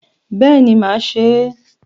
Béèni ma se é